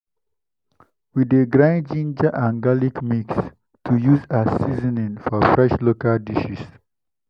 we dey grind ginger and garlic mix to use as seasoning for fresh local dishes.